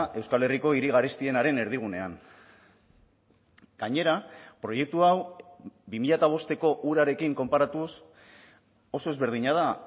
euskal herriko hiri garestienaren erdigunean gainera proiektu hau bi mila bosteko hurarekin konparatuz oso ezberdina da